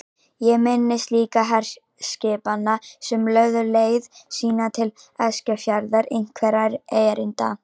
Ég minnist líka herskipanna sem lögðu leið sína til Eskifjarðar einhverra erinda.